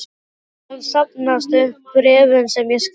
meðan safnast upp bréfin sem ég skrifa þér.